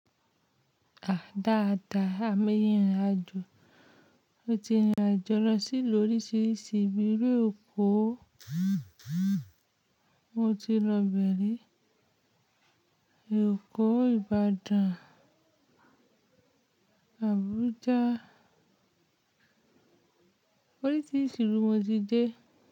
À dáadáa, a máa ń rìnrìn àjò. Mo ti rìnrìn àjò lọ sí ilu oríṣiríṣi ilu eko mo ti lọ ibẹ̀ ri, Èkó, Ìbàdàn, Àbújá, oríṣiríṣi ìlú n mo ti dé.